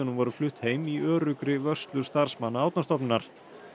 voru flutt heim í öruggri vörslu starfsmanna Árnastofnunar